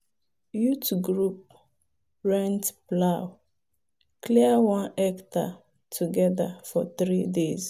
youth group rent plow clear one hectare together for three days.